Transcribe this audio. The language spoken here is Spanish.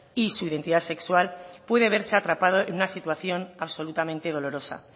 y su identidad sexual puede verse atrapado en una situación absolutamente dolorosa